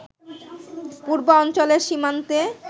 পূর্বাঞ্চলের সীমান্তে